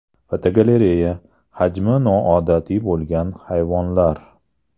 Fotogalereya: Hajmi noodatiy bo‘lgan hayvonlar.